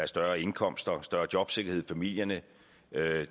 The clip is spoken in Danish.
større indkomster og større jobsikkerhed for familierne